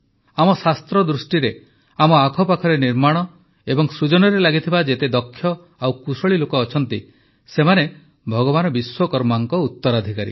ଆମ ଶାସ୍ତ୍ର ଦୃଷ୍ଟିରେ ଆମ ଆଖପାଖରେ ନିର୍ମାଣ ଓ ସୃଜନରେ ଲାଗିଥିବା ଯେତେ ଦକ୍ଷ ଓ କୁଶଳୀ ଲୋକ ଅଛନ୍ତି ସେମାନେ ଭଗବାନ ବିଶ୍ୱକର୍ମାଙ୍କ ଉତ୍ତରାଧିକାରୀ